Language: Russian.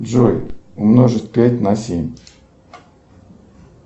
джой умножить пять на семь